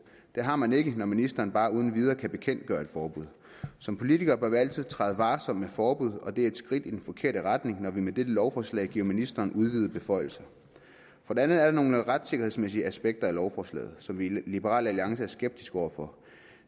det har man ikke når ministeren bare uden videre kan bekendtgøre et forbud som politikere bør vi altid træde varsomt med forbud og det er et skridt i den forkerte retning når vi med dette lovforslag giver ministeren udvidede beføjelser for det andet er der nogle retssikkerhedsmæssige aspekter af lovforslaget som vi i liberal alliance er skeptiske over for